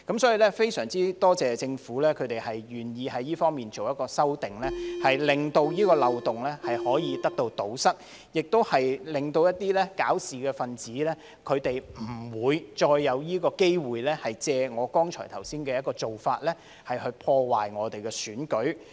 所以，非常多謝政府願意在這方面作出修正，令這個漏洞得以堵塞，亦令一些搞事分子不會再有機會借我剛才說的做法，破壞我們的選舉。